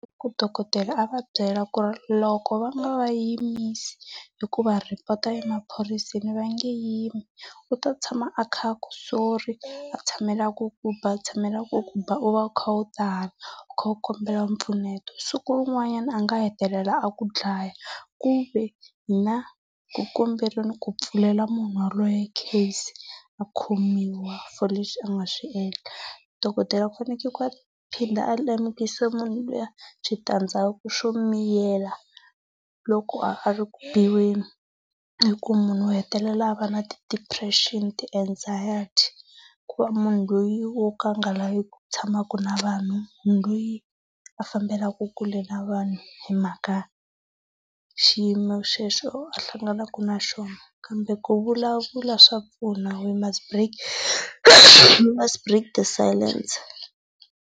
Ku dokodela a va byela ku ri loko va nga va yimisi hi ku va rhipota emaphoyiseni a va nge yimi. U to tshama a kha a ku sorry a tshamela ku ku ba a tshamela ku ku ba u va u kha u u kha u kombela mpfuneto siku rin'wanyana a nga hetelela a ku dlaya kuve ku kombeleni ku pfulela munhu yelweyo case a khomiwa for leswi a nga swi endla. Dokodela u fanekele ku a phinda a lemukisa munhu lwiya switandzhaku swo miyela loko a ri ku biweni, i ku munhu u hetelela a va na ti-depression, ti-anxiety, ku va munhu loyi a nga laveki ku tshamaka na vanhu, munhu loyi a fambelaka kule na vanhu hi mhaka xiyimo xexo a hlanganaka na xona. Kambe ku vulavula swa pfuna we must break the silence.